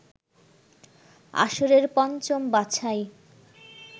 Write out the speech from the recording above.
আসরের পঞ্চম বাছাই